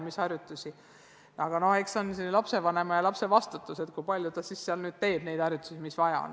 Eks see ole lapse ja lapsevanema vastutada, kui palju neid harjutusi tehakse.